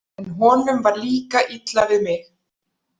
En honum var líka illa við mig.